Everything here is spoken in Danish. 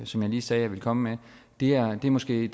som jeg sagde jeg ville komme med er måske i